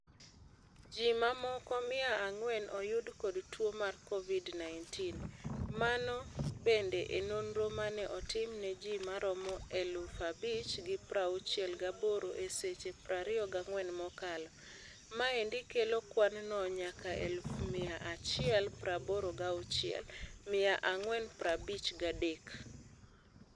Ji mamoko mia ang'wen oyud kod tuo mar Covid-19. Mano bende e nonro mane otim ne ji maromo eluf abich gi prauchiel gaboro e seche prario gang'wen mokalo. Maendi kelo kwan no nyaka eluf mia achiel praboro gauchiel, mia ang'wen prabich gadek.